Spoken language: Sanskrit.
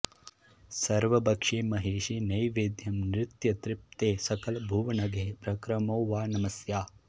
सर्वभक्षे महेशे नैवेद्यं नित्यतृप्ते सकलभुवनगे प्रक्रमो वा नमस्या